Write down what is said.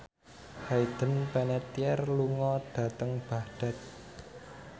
Hayden Panettiere lunga dhateng Baghdad